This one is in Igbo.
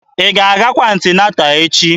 Ị ga-agakwa anti-nata echi?